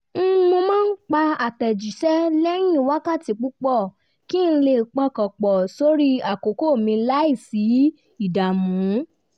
mo máa ń pa àtẹ̀jíṣẹ́ lẹ́yìn wákàtí púpọ̀ kí n lè pọkàn pọ̀ sórí àkókò mi láìsí ìdààmú